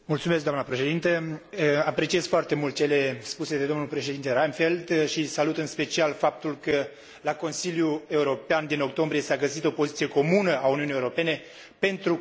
Apreciez foarte mult cele spuse de domnul președinte Reinfeldt și salut, în special, faptul că la Consiliul European din octombrie s a găsit o poziție comună a Uniunii Europene pentru Conferința de la Copenhaga.